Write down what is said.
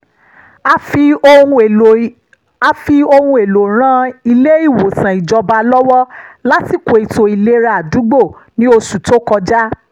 a fi àwọn ohun èlò ran ilé-ìwòsàn ìjọba lọ́wọ́ lásìkò ètò ìlera àdúgbò ní oṣù tó kọjá